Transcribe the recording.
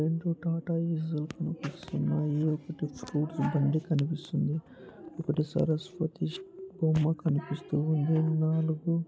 రెండు టాటా ఏ.సీ. లు కనిపిస్తున్నాయి. ఒకటి స్కూటర్ బండి కనిపిస్తుంది. ఒక సరస్వతి బొమ్మ కనిపిస్తుంది. నాలుగు --